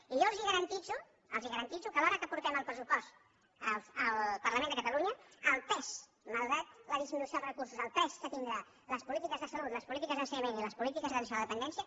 i jo els garanteixo que a l’hora que portem el pressupost al parlament de catalunya el pes malgrat la disminució dels recursos que tindran les polítiques de salut les polítiques d’ensenyament i les polítiques d’atenció a la dependència